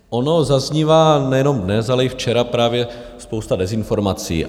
Ona zaznívá nejenom dnes, ale i včera právě spousta dezinformací.